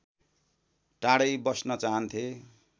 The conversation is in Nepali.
टाढै बस्न चाहन्थे